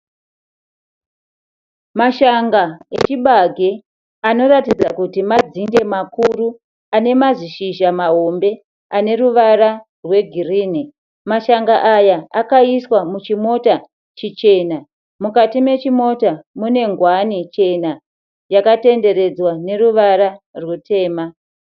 Mashanga echibage anoratidza kuti madzinde makuru. Ane mazizhizha mahombe. Ane ruvara rwegirini. Mashanga aya akaiswa muchimota chichena. Mukati mechimota mune nguwani chena yakatenderedzwa neruvara rwutema.